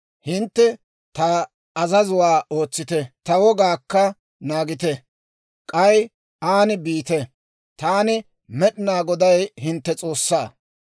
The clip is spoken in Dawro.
Hintte ta azazuwaa ootsite; ta wogaakka naagite; k'ay aan biite. Taani, Med'inaa Goday, hintte S'oossaa.